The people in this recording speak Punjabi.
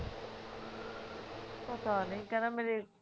ਪਤਾ ਨਹੀ ਕਹਿੰਦਾ ਮੇਰੇ